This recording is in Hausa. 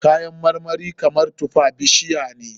Kayan marmari kamar tufa bishiya ne.